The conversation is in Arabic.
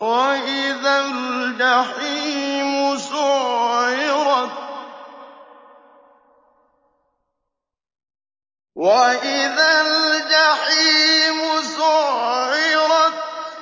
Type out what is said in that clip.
وَإِذَا الْجَحِيمُ سُعِّرَتْ